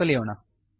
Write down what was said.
ಎಂದು ಕಲಿಯೋಣ